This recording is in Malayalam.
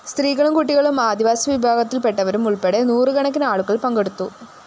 സ്ത്രീകളും കുട്ടികളും ആദിവാസി വിഭാഗത്തില്‍പെട്ടവരും ഉള്‍പ്പെടെ നൂറുകണക്കിന് ആളുകള്‍ പങ്കെടുത്തു